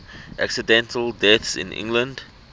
accidental deaths in england